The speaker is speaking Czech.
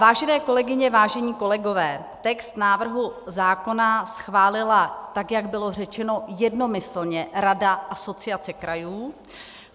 Vážené kolegyně, vážení kolegové, text návrhu zákona schválila, tak jak bylo řečeno, jednomyslně Rada Asociace krajů.